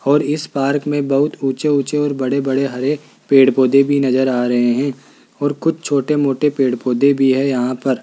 और इस पार्क में बहुत ऊंचे-ऊंचे और बड़े-बड़े हरे पेड़-पौधे भी नजर आ रहे हैं और कुछ छोटे-मोटे पेड़-पौधे भी है यहां पर --